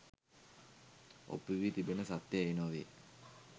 ඔප්පු වී තිබෙන සත්‍යය එය නොවේ